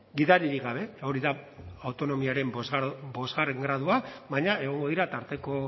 gidaririk gabe hori da autonomiaren bosgarren gradua baina egongo dira tarteko